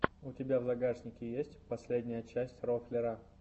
у тебя в загашнике есть последняя часть рофлера